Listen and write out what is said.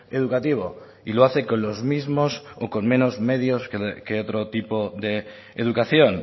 educativo y lo hace con los mismos o con menos medios que otro tipo de educación